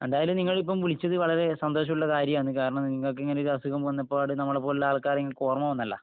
എന്തായാലും നിങ്ങളിപ്പോ വിളിച്ചത് വളരെ സന്തോഷമുള്ള കാര്യമാണ്. കാരണം നിങ്ങക്കിങ്ങനെ ഒരസുഖം വന്നപാട് നമ്മളെപ്പോലത്ത ആൾക്കാരെ നിങ്ങക്ക് ഓർമ വന്നല്ല.